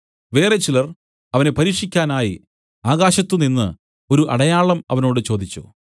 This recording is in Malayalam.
വേറെ ചിലർ അവനെ പരീക്ഷിക്കാനായി ആകാശത്തുനിന്ന് ഒരു അടയാളം അവനോട് ചോദിച്ചു